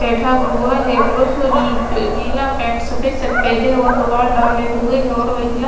बैठा हुआ है पुरुष नीला पैंट सफेद शर्ट पहने और मोबाइल डाले हुए है और महिला--